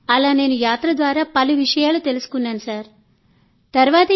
అలా నేను పొందిన ఎక్స్ పోజర్ తర్వాత ఈ కార్యక్రమంలో భాగమైనందుకు చాలా గర్వపడుతున్నాను